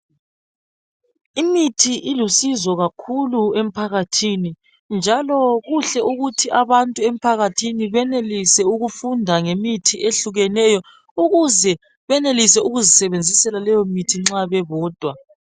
Imithi ilusizo kakhulu emphakathini njalo kuhle ukuthi abantu emphakathini benelise ukufunda ngemithi eyehlukeneyo ukuze benelise ukuzisebenzisela leyo mithi nxa bebodwa.